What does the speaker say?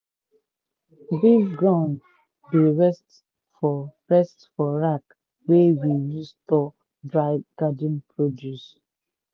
big gourd dey rest for rest for rack wey we use store dry garden produce.